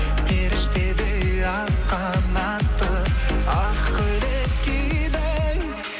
періштедей ақ қанатты ақ көйлек кидің